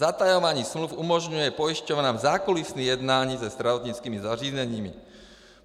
Zatajování smluv umožňuje pojišťovnám zákulisní jednání se zdravotnickými zařízeními.